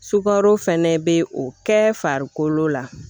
Sukaro fɛnɛ bɛ o kɛ farikolo la